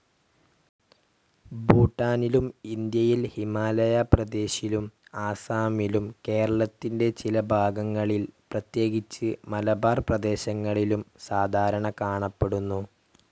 ഭൂട്ടാനിലും ഇന്ത്യയിൽ ഹിമാലയ പ്രേദേശിലും ആസാമിലും കേരളത്തിൻ്റെ ചില ഭാഗങ്ങളിൽ, പ്രേത്യേകിച്ച് മലബാർ പ്രേദേശങ്ങളിലും സാധാരണ കാണപ്പെടുന്നു.